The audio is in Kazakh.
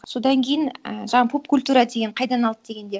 содан кейін і жаңа поп культура деген қайдан алды дегенде